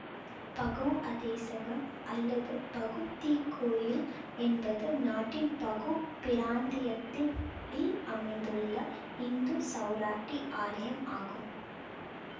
பகு அதேசகம் அல்லது பகு தீக்கோயில் என்பது நாட்டின் பகு பிராந்தியத்தின் யில் அமைந்துள்ள இந்து சௌராட்டி ஆலயம் ஆகும்